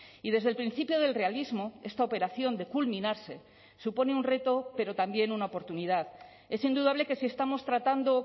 y desde el principio del realismo esta operación de culminarse supone un reto pero también una oportunidad es indudable que si estamos tratando